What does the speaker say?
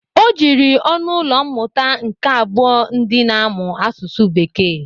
O jiri ọnụ ụlọ mmụta nke abụọ ndị na-amụ asụsụ bekee.